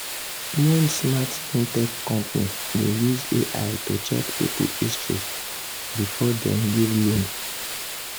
one smart fintech company dey use ai to check people history before dem give loan.